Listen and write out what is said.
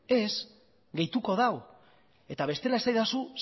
ez gehituko du eta bestela esaidazu